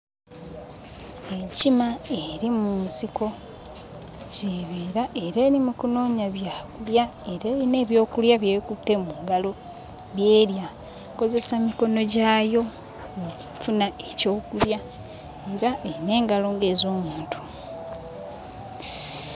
Enkima eri mu nsiko gy'ebeera era eri mu kunoonya byakulya era eyina ebyokulya by'ekutte mu ngalo by'erya ekozesa mikono gyayo okufuna ekyokulya era eyina engalo nga ez'omuntu.